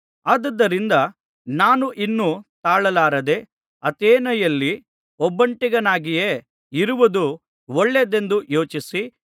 ಆದುದರಿಂದ ನಾನು ಇನ್ನು ತಾಳಲಾರದೆ ಅಥೇನೆಯಲ್ಲಿ ಒಬ್ಬಂಟಿಗನಾಗಿಯೇ ಇರುವುದು ಒಳ್ಳೆಯದೆಂದು ಯೋಚಿಸಿ